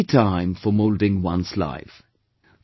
This is THE time for moulding one's life